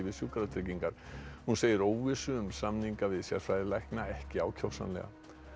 Sjúkratryggingar hún segir óvissu um samninga við sérfræðilækna ekki ákjósanlega